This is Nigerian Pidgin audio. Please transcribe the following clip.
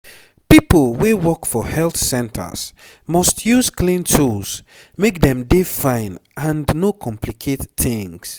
pipo wey work for health centers must use clean tools make dem dey fine and no complicate tings